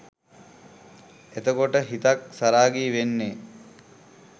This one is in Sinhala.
එතකොට හිතක් සරාගී වෙන්නෙ